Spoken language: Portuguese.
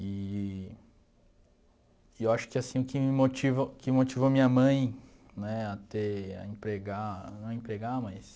Eee e eu acho que assim quem me motiva o que motivou minha mãe, né, a ter, a empregar, não a empregar, mas...